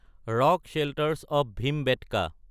rock shelters of Bhimbetka